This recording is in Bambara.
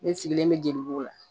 Ne sigilen bɛ jelibugu la